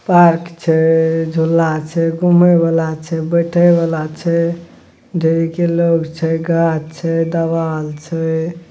Park छै झूला छै घूमे वला छै बैठे वला छै ढेरिक लोग छै गाछ छै दवाल छै।